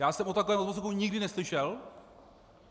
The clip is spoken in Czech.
Já jsem o takovém odposlechu nikdy neslyšel.